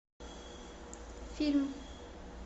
фильм